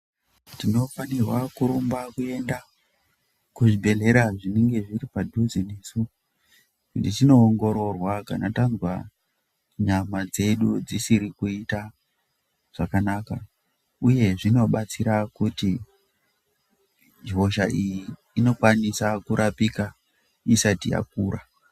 Tinofanirwa kurumba kuenda kuzvibhedhlera zvinenge zviri padhuze nesu ndichinoongororwa kana ndazwa nyama dzedu dzisiri kuita zvakanaka uye zvinobatsira kuti hosha iyi inokwanisa kurapika isati yakura.